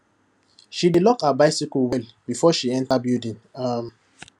she dey lock her bicycle well before she enter building um